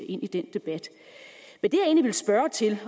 ind i den debat